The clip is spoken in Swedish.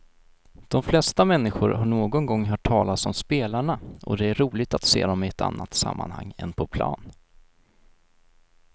De flesta människor har någon gång hört talas om spelarna och det är roligt att se dem i ett annat sammanhang än på plan.